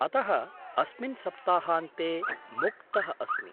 अतः अस्मिन् सप्ताहान्ते मुक्तः अस्मि।